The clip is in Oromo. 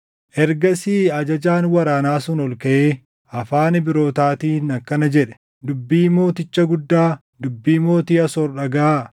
Ergasii ajajaan waraanaa sun ol kaʼee afaan Ibrootaatiin akkana jedhe; “Dubbii mooticha guddaa, dubbii mootii Asoor dhagaʼaa!